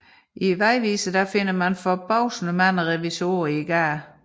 Man finder i vejviseren forbavsende mange revisorer i gaden